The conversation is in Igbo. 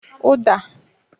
Uda